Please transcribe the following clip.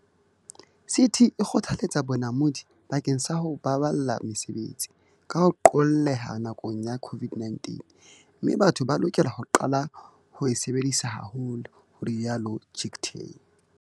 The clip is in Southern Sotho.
"CT e kgothaletsa bonamodi bakeng sa ho baballa mesebetsi, ka ho qolleha nakong ya COVID-19, mme batho ba lokela ho qala ho e sebedisa haholo," ho ile ha rialo Chicktay.